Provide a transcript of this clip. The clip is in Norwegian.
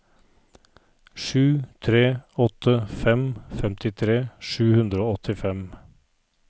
sju tre åtte fem femtitre sju hundre og åttifem